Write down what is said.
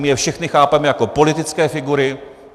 My je všechny chápeme jako politické figury.